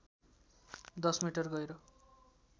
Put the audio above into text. १० metre गहिरो